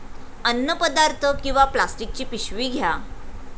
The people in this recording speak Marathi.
अन्नपदार्थ किंवा प्लास्टिकची पिशवी घ्या.